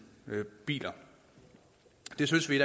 biler det synes vi i